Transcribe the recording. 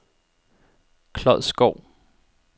Klodskov